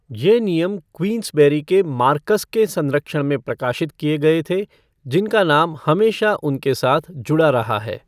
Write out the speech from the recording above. ये नियम क्वींसबेरी के मार्कस के संरक्षण में प्रकाशित किए गए थे, जिनका नाम हमेशा उनके साथ जुड़ा रहा है।